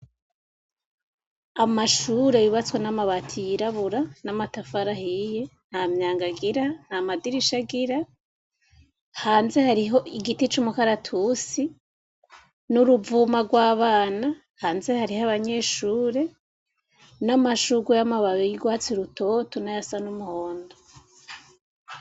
Amashure bibatswa n'amabati yirabura n'amatafarahiye nta myangagira namadirishagira hanze hariho igiti c'umukaratusi n'uruvuma rw'abana hanze hariho abanyeshure n'amashuru y'amabayo y'irwatsi rutoto naya a niumuhonda.